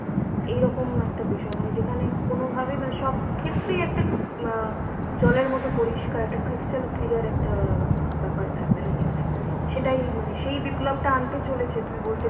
এইরকম একটা বিষয় মানে যেখানে কোনোভাবে মানে সবক্ষেত্রেই একটা অ্যাঁ জলের মতো পরিষ্কার একটা stal clear একটা অ্যাঁ ব্যাপার থাকবে নাকি মানে? সেটাই মানে সেই বিপ্লবটা আনতে চলেছে তুমি বলতে